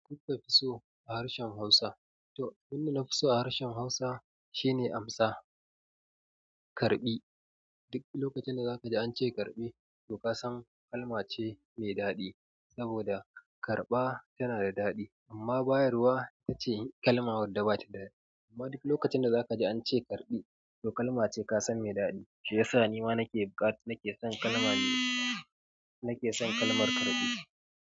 Me kuka fiso a harshen Hausa. To, abunda nafi so a harshen Hausa shine amsa karɓi. Duk lokacin da zaka ji an ce karɓi, to kasan kalma ce mai daɗi saboda karɓa tana da daɗi amma bayarwa ita ce kalma wadda bata daɗi. Amma duk lokacin da zaka ji an ce karɓi, to kalma ce kasan mai daɗi. Shi yasa nima nake buƙata, nake son kalma nake son kalmar karɓi.